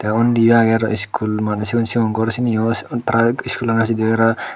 te unniyo aage aro school mane siyon siyon ghar siniyo tara school sidibera.